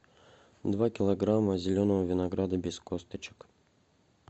два килограмма зеленого винограда без косточек